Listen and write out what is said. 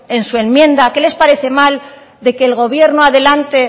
en su enmienda qué les parece mal de que el gobierno adelante